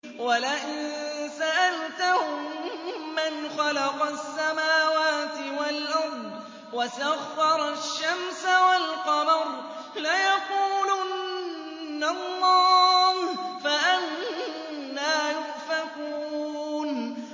وَلَئِن سَأَلْتَهُم مَّنْ خَلَقَ السَّمَاوَاتِ وَالْأَرْضَ وَسَخَّرَ الشَّمْسَ وَالْقَمَرَ لَيَقُولُنَّ اللَّهُ ۖ فَأَنَّىٰ يُؤْفَكُونَ